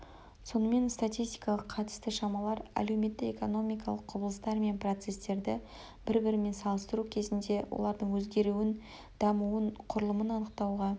сонымен статистикалық қатысты шамалар әлеуметтік-экономикалық құбылыстар мен процестерді бір-бірімен салыстыру кезінде олардың өзгеруін дамуын құрылымын анықтауға